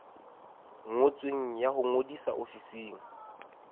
ngotsweng ya ho ngodisa ofising